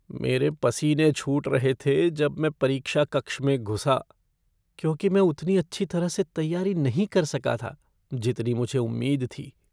मेरे पसीने छूट रहे थे जब मैं परीक्षा कक्ष में घुसा क्योंकि मैं उतनी अच्छी तरह से तैयारी नहीं कर सका था जितनी मुझे उम्मीद थी।